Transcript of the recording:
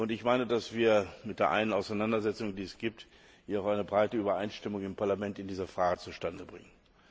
Ich meine, dass wir trotz der einen Auseinandersetzung, die es gibt, hier auch eine breite Übereinstimmung im Parlament in dieser Frage zustande bringen.